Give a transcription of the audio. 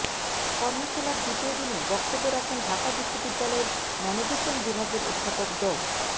কর্মশালার দ্বিতীয় দিনে বক্তব্য রাখেন ঢাকা বিশ্ববিদ্যালয়ের মনোবিজ্ঞান বিভাগের অধ্যাপক ড